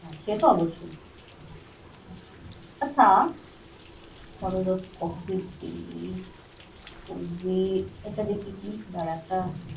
সে তো অবশ্যই। আচ্ছা, যে এটা দেখি কি দ্বারা একটা।